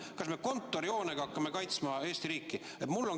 Kas me kontorihoonega hakkame kaitsma Eesti riiki?